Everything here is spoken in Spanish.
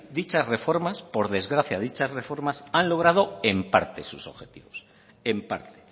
dichas reformas por desgracias dichas reformas han logrado en parte sus objetivos en parte